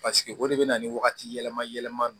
Paseke o de bɛ na ni wagati yɛlɛma yɛlɛma don